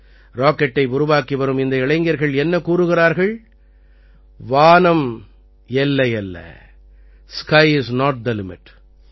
ராக்கெட்டை உருவாக்கி வரும் இந்த இளைஞர்கள் என்ன கூறுகிறார்கள் வானம் எல்லையல்ல sky is not the limit